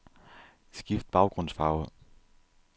Skift baggrundsfarve.